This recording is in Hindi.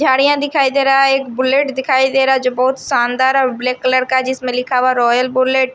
झाड़ियां दिखाई दे रहा है एक बुलेट दिखाई दे रहा जो बहोत शानदार और ब्लैक कलर का है जिसमें लिखा हुआ रॉयल बुलेट --